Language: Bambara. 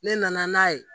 Ne nana n'a ye